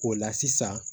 O la sisan